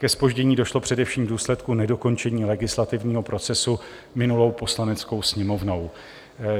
Ke zpoždění došlo především v důsledku nedokončení legislativního procesu minulou Poslaneckou sněmovnou.